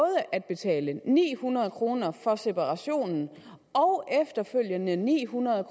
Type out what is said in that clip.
at betale ni hundrede kroner for separationen og efterfølgende ni hundrede